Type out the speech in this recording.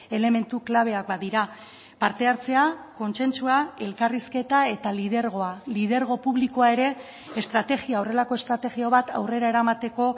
elementu klabeak badira parte hartzea kontsentsua elkarrizketa eta lidergoa lidergo publikoa ere estrategia horrelako estrategia bat aurrera eramateko